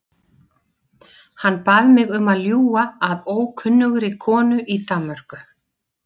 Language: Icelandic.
Hann bað mig um að ljúga að ókunnugri konu í Danmörku.